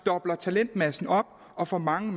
dobler talentmassen op og får mange